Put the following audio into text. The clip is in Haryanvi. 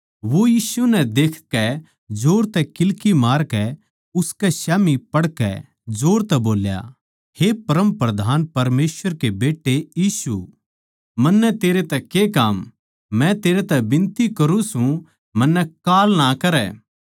वो यीशु नै देखकै जोर तै किल्की मारकै उसकै स्याम्ही पड़कै जोर तै बोल्या हे परमप्रधान परमेसवर के बेट्टे यीशु मन्नै तेरै तै के काम मै तेरै तै बिनती करूँ सूं मन्नै काल ना करै